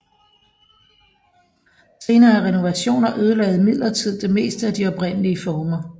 Senere renovationer ødelagde imidlertid det meste af de oprindelige former